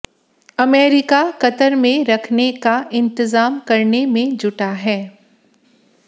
America Qatar में रखने का इंतजाम करने में जुटा है